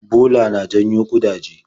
Bola na janyo ƙudaje.